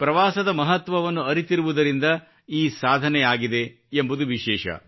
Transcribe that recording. ಪ್ರವಾಸದ ಮಹತ್ವವನ್ನು ಅರಿತಿರುವುದರಿಂದ ಈ ಸಾಧನೆ ಆಗಿದೆ ಎಂಬುದು ವಿಶೇಷ